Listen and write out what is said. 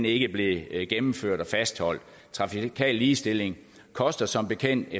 ikke blev gennemført og fastholdt trafikal ligestilling koster som bekendt